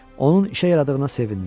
Onun işə yaradığına sevindi.